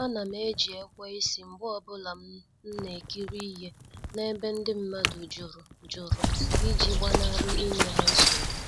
A nam eji ekweisi mgbe ọbụla m na-ekiri ihe na-ebe ndị mmadụ jụrụ jụrụ iji gbanari inye ha nsogbu.